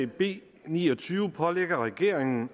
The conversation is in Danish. b ni og tyve pålægger regeringen